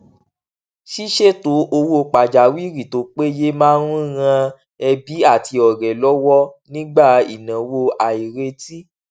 ṣíṣètò owó pàjáwìrì tó péye máa ń ran ẹbí àti ọrẹ lọwọ nígbà ìnáwó àìrètí